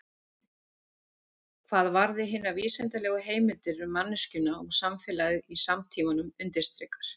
Hvað varði hinar vísindalegu heimildir um manneskjuna og samfélagið í samtímanum undirstrikar